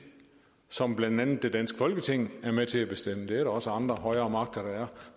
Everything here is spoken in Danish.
som blandt andet det danske folketing er med til at bestemme det er der også andre højere magter der er